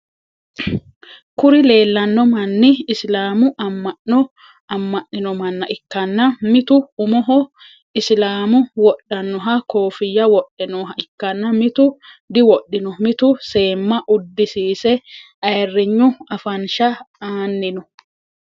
Kuri leellanno manni isilaamu ama'no ama'ninno manna ikkanna mitu umoho isilaamu wodhannoha koffiyya wodhe nooha ikkanna mitu diwodhino. mittu seemma uddisise ayirignu afansha aanni no.